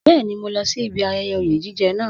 Bẹ́ẹ̀ni, mo lọ sí ibi ayẹyẹ oyè jíjẹ naa